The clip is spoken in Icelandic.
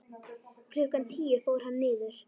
Klukkan tíu fór hann niður.